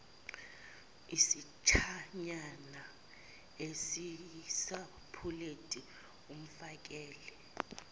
isitshanyana esisapuleti amfakele